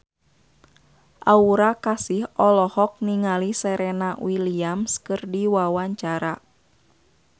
Aura Kasih olohok ningali Serena Williams keur diwawancara